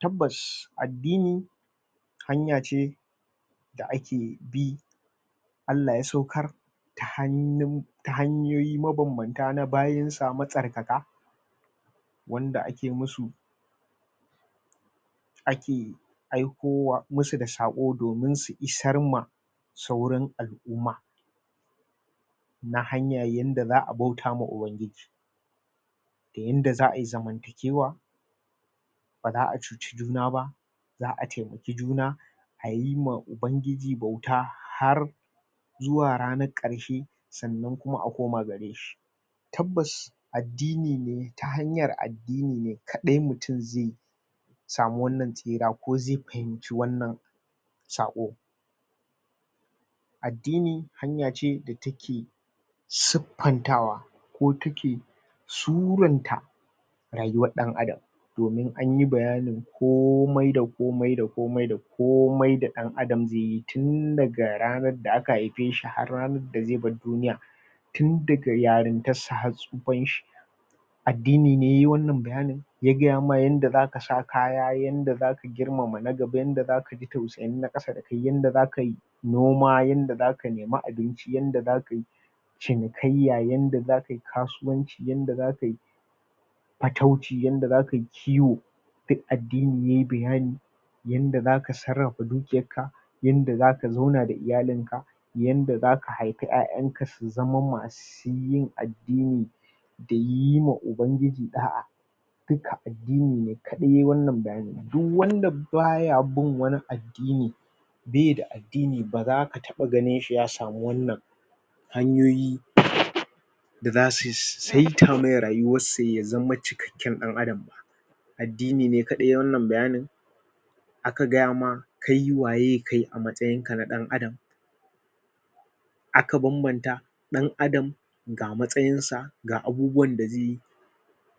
tabbas addini hanya ce da ake bi Allah ya saukar ta hannun hanyoyi mabambanta na bayinsa matsarkaka wanda ake musu ake aikowa musu da saƙo domin su isar ma sauran al'umma na hanya yanda zaa bauta ma ubangiji da yanda za'ayi zamantakewa baza'a cuci juna ba za'a taimaki juna halin ma ubangiji bauta har zuwa ranar ƙarshe sannan kuma a koma gare shi tabbas addini ne ta hanyar addini ne kaɗai mutum zai samu wannan tsira ko zai fahimci wannan sako addini hanya ce da take suffantawa ko take suranta rayuwar ɗan adam domin anyi bayanin komai da komai da komai da komai komai da ɗan adam zai yi tun daga ranar da aka haife shi har har ranar da zai bar duniya, tun daga yarintar sa har tsufan shi addini ne yayi wannan bayanin ya gaya maka yanda zaka sa kaya yanda zaka girmama na gaba yanda zaka kaji tausayin na ƙasa da kai yanda zakayi noma yanda zaka nemi abinci yanda zakayi cinikaiyya yanda zakai kasuwanci yanda zakayi fatauci yanda zakai ƙiwo duk addini yayi bayani yanda zaka sarrafa dukiyar ka yanda zaka zauna da iyalin ka yanda zaka haifi ƴa'ƴan ka su zama masu shi yin addini da yi ma ubangiji ɗa'a duka addini ne kaɗai yayi wannan bayani duk wanda baya bin wani addini baida addini bazaka taba ganin shi ya samu wannan hanyoyi da zasu saita mai rayuwarsa ya zama cikakken ɗan adam ba, addini ne kaɗai yayi wannan bayanin aka gayama kai waye kai a matsayinka na ɗan adam aka bambanta ɗan adam ga matsayin sa ga abubuwan da zai yi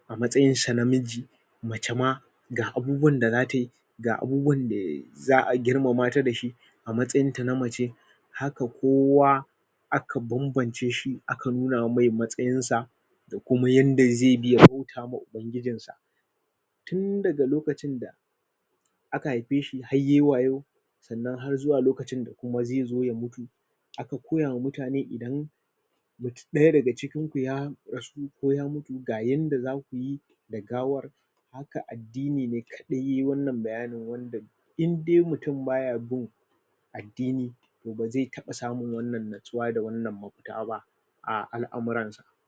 a matsayinsa na namiji, mace ma ga abubuwan da zatayi ga abubuwan da za'a girmama ta dashi a matsayin ta na mace haka kowa aka bambance shi aka nuna masa matsayin sa da kuma yanda zai bi ya bauta ma ubangijin, sa tun daga lokacin da aka haife shi har yayi wayo sannan har zuwa lokacin da zai mutu aka koya ma mutane idan ɗaya daga cikin ku ya rasu ko ya mutu ga yanda zaku yi da gawar haka addini ne kadai yayi wannan bayani wanda indai mutum baya bin addini bazai taba samun wannan nutsuwa da wanna mafuta ba a al'amuran sa.